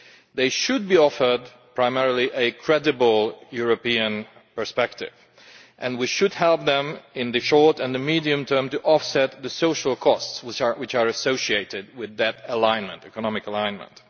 They should be offered primarily a credible European perspective, and we should help them in the short and the medium term to offset the social costs which are associated with that economic alignment.